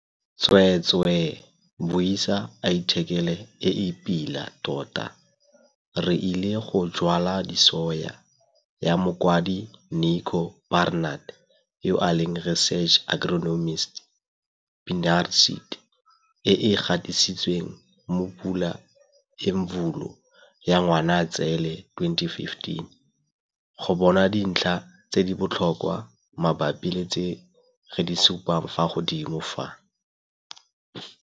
Tsweetswee, buisa athikele e e pila tota - 'Re ile go jwala disoya' ya mokwadi Nico Barnard yo a leng Research Agronomist, Pannar Seed, e e gatisitsweng mo Pula Imvula ya Ngwanatsele 2015 go bona dintlha tse di botlhokwa mabapi le tse re di supang fa godimo fa.